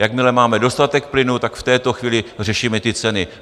Jakmile máme dostatek plynu, tak v této chvíli řešíme ty ceny.